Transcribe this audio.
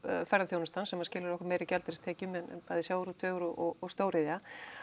ferðaþjónustan sem skilar okkur meiri gjaldeyristekjum en bæði sjávarútvegur og stóriðja